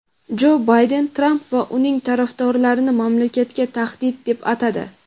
Jo Bayden Tramp va uning tarafdorlarini "mamlakatga tahdid" deb atadi.